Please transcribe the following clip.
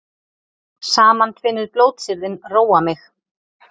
Samantvinnuð blótsyrðin róa mig.